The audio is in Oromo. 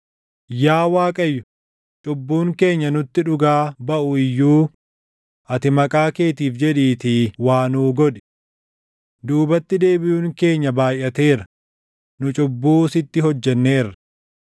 Yaa Waaqayyo, cubbuun keenya nutti dhugaa baʼu iyyuu ati maqaa keetiif jedhiitii waa nuu godhi. Duubatti deebiʼuun keenya baayʼateera; nu cubbuu sitti hojjenneerra.